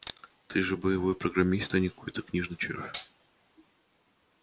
ты же боевой программист а не какой-то книжный червь